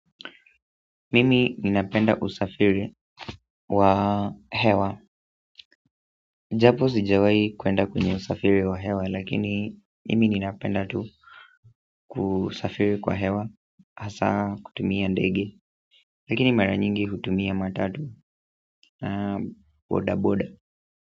Mimi ninapenda usafiri wa hewa. Japo sijawahi kwenda kwenye usafiri wa hewa, lakini mimi ninapenda tu kusafiri kwa hewa. Hasa kutumia ndege, lakini mara nyingi hutumia matatu na bodaboda.